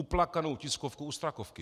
Uplakanou tiskovku u Strakovky!